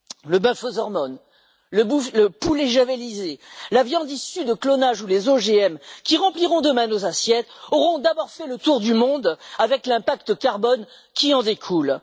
Le bœuf aux hormones, le poulet javellisé, la viande issue de clonage ou les OGM qui rempliront demain nos assiettes auront d'abord fait le tour du monde, avec l'empreinte carbone qui en découle.